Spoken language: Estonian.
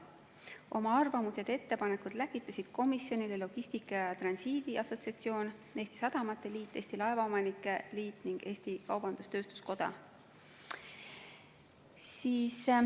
Oma arvamused ja ettepanekud läkitasid komisjonile Logistika ja Transiidi Assotsiatsioon, Eesti Sadamate Liit, Eesti Laevaomanike Liit ning Eesti Kaubandus-Tööstuskoda.